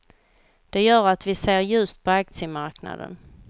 Det gör att vi ser ljust på aktiemarknaden.